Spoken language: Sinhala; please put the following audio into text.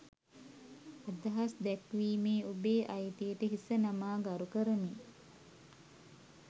අදහස් දැක්වීමේ ඔබේ අයිතියට හිස නමා ගරු කරමි